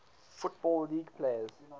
football league players